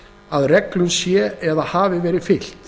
að reglunum sé eða hafi verið fylgt